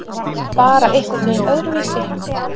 Bara einhvernveginn öðruvísi.